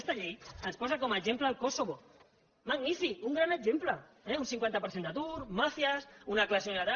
aquesta llei ens posa com a exemple el kosovo magnífic un gran exemple eh un cincuenta per cent d’atur màfies una classe i una altra